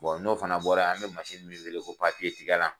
n'o fana bɔra yan an bɛ min wele ko tigɛlan